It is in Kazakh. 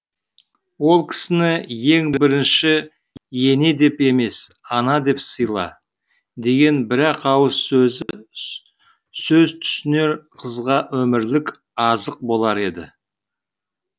ол кісіні ең бірінші ене деп емес ана деп сыйла деген бір ақ ауыз сөзі сөз түсінер қызға өмірлік азық болар еді